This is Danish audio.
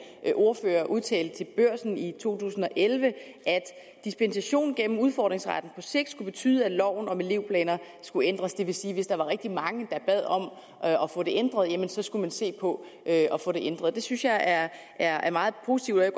ordfører udtalte til børsen i to tusind og elleve at dispensation gennem udfordringsretten på sigt skulle betyde at loven om elevplaner skulle ændres det vil sige at hvis der var rigtig mange der bad om at få det ændret så skulle man se på at få det ændret det synes jeg er er meget positivt og jeg